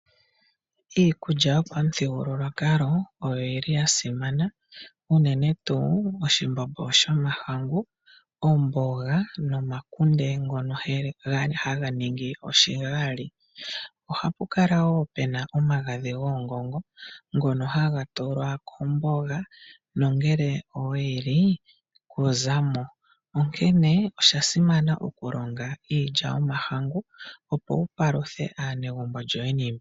Iikulya yopamuthigululwakalo oyi li ya simana noonkondo ngaashi oshimbombo shomahangu, omboga nomakunde ngono haga ningwa oshigali. Oha pu kala woo puna omagadhi goongongo ngono haga tulwa komboga na ngele oweyi li ito zimo. Osha simana okulonga iilya yomahangu opo wu paluthe aanegumbo lyoye.